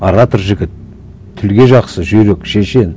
оратор жігіт тілге жақсы жүйрек шешен